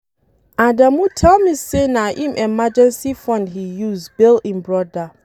Adamu tell me say na im emergency fund he use bail im brother